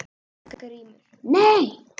GRÍMUR: Nei!